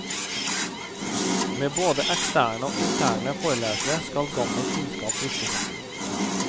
Med både eksterne og interne forelesere skal gammel kunnskap friskes opp.